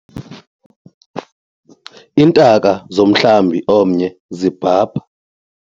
Iintaka zomhlambi omnye zibhabha.